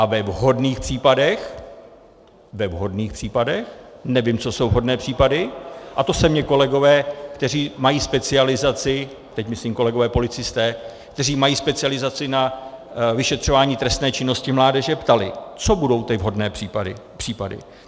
A ve vhodných případech - ve vhodných případech, nevím, co jsou vhodné případy, a to se mě kolegové, kteří mají specializaci, teď myslím kolegové policisté, kteří mají specializaci na vyšetřování trestné činnosti mládeže, ptali, co budou ty vhodné případy.